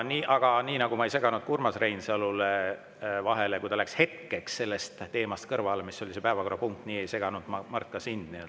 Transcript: Aga nii nagu ma ei seganud Urmas Reinsalule vahele, kui ta läks hetkeks kõrvale teemast, mis oli see päevakorrapunkt, nii ei seganud ma, Mart, ka sind.